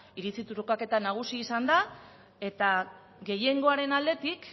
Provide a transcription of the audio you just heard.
iritzi trukaketa nagusi izan eta gehiengoaren aldetik